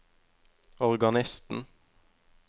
organisten